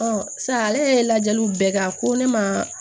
sisan ale yɛrɛ ye lajɛliw bɛɛ kɛ a ko ne ma